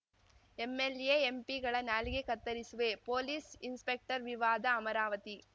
MLA ಎಂಪಿಗಳ ನಾಲಿಗೆ ಕತ್ತರಿಸುವೆ ಪೊಲೀಸ್‌ ಇನ್‌ಸ್ಪೆಕ್ಟರ್‌ ವಿವಾದ ಅಮರಾವತಿ